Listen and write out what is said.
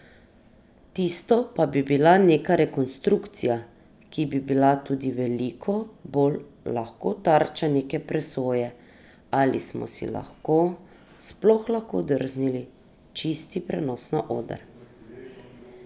Tisto pa bi bila neka rekonstrukcija, ki bi bila tudi veliko bolj lahko tarča neke presoje, ali smo si lahko sploh lahko drznili čisti prenos na oder.